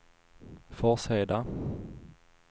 Forsheda